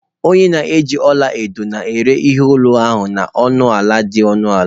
Onye na-eji ọla edo na-ere ihe olu ahụ na ọnụ ala dị ọnụ ala